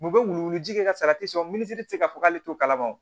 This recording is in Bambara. U bɛ wuluwuluji kɛ ka salati san u min ti se ka fɔ k'ale t'o kalama